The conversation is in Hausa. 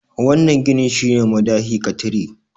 wannan ginin shi ne madahi ka tire